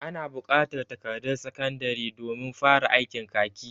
Ana bukatar takardan sakandari domin fara aikin kaki.